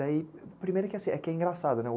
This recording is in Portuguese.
Daí, primeiro que assim, é que é engraçado, né?